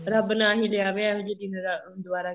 ਰੱਬ ਨਾ ਹੀ ਲਿਆਵੇ ਅਹਿਜੇ ਦਿਨ ਦੁਬਾਰਾ